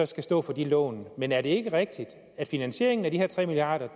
skal stå for de lån men er det ikke rigtigt at finansieringen af de her tre milliard